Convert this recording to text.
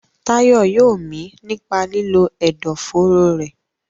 Tayo yóò mí nípa lílo ẹ̀dọ̀fóró rẹ̀.